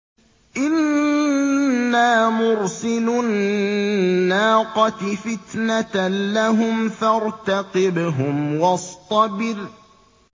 إِنَّا مُرْسِلُو النَّاقَةِ فِتْنَةً لَّهُمْ فَارْتَقِبْهُمْ وَاصْطَبِرْ